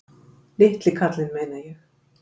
Litli kallinn, meina ég.